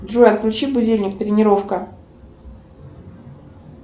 джой отключи будильник тренировка